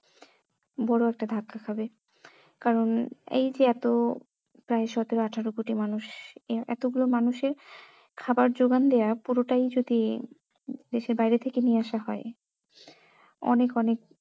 বড়ো একটা ধাক্কা খাবে কারণ এই যে এত প্রায় সতেরো আঠেরো কোটি মানুষ এতগুলো মানুষের খাবার যোগান দেওয়া পুরোটাই যদি দেশের বাইরে থেকে নিয়ে আসা হয় অনেক অনেক